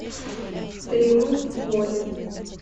триумф воли